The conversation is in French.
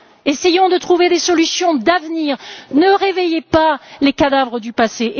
Essayons de trouver des solutions d'avenir, ne réveillez pas les cadavres du passé!